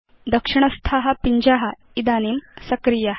दक्षिणस्था पिञ्जा इदानीं सक्रिया